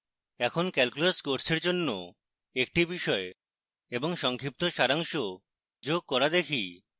এখন calculus কোর্সের জন্য একটি বিষয় এবং সংক্ষিপ্ত সারাংশ যোগ করা দেখি